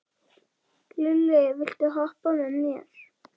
Lilli, viltu hoppa með mér?